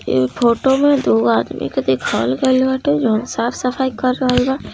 ये फोटो में दो आदमी के दिखागल बाटे यहाँ साफ सफाई करलवा